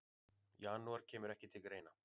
Janúar kemur ekki til greina.